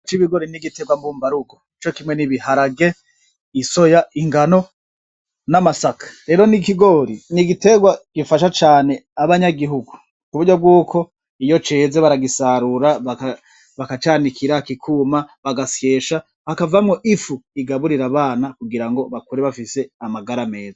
C'ibigori n'igiterwa mbumbarugo cokimwe n'ibiharage isoya, ingano n'amasaka, rero n'ikigori n'igiterwa gifasha cane abanyagihugu ku buryo bw'uko iyo ceze baragisarura bakacanikira kikuma bagasyesha hakavamwo ifu igaburira abana kugira ngo bakure bafise amagara meza.